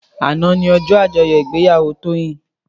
Àná ni òjò ájòyò igbéyàwó Toyin